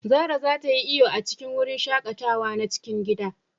Zara za ta yi iyo a cikin wurin shaƙatawa na cikin gida.